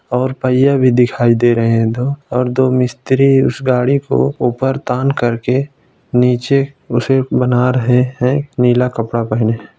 और पहिया भी दिखायी दे रहे हैं दो और दो मिस्त्री उस गाड़ी को ऊपर तान करके नीचे उसे बना रहे हैं नीला कपड़ा पहने।